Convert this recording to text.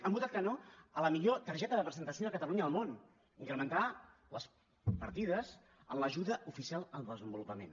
han votat que no a la millor targeta de presentació de catalunya al món incrementar les partides en l’ajuda oficial al desenvolupament